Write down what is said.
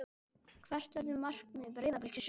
Hvert verður markmið Breiðabliks í sumar?